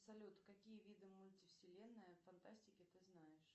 салют какие виды мультивселенная фантастики ты знаешь